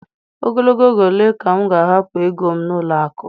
Ogologo oge ole ka m ga-ahapụ ego m n'ụlọ akụ?